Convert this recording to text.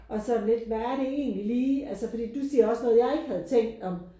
Og sådan lidt hvad er det egentlig lige altså fordi du siger også noget jeg ikke havde tænkt om